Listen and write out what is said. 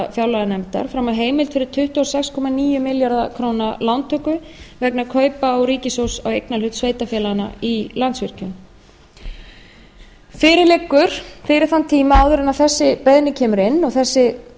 fjárlaganefndar heimild fyrir tuttugu og sex komma níu milljarða króna lántöku vegna kaupa ríkissjóðs á eignarhlut sveitarfélaganna í landsvirkjun fyrir liggur fyrir þann tíma áður en þessi beiðni kemur inn og